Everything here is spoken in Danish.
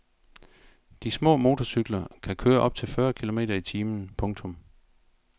De små motorcykler kan køre op til fyrre kilometer i timen. punktum